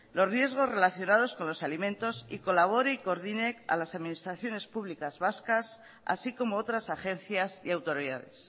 los riesgos relacionados con los alimentos y colabore y coordine a las administraciones públicas vascas así como otras agencias y autoridades